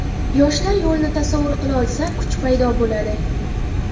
Yoshlar yo‘lini tasavvur qilolsa, kuch paydo bo‘ladi.